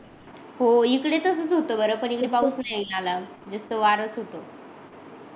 हो इकडे तसच होत बर पण इकडे पाऊस नाही आला नुस्त वाराच होतो